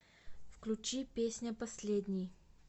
включи песня последний